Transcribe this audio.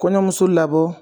Kɔɲɔnmuso labɔ.